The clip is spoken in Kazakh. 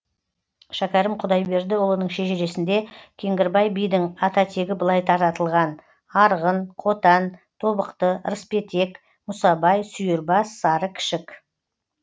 шәкәрім құдайбердіұлының шежіресінде кеңгірбай бидің ататегі былай таратылған арғын қотан тобықты рыспетек мұсабай сүйірбас сары кішік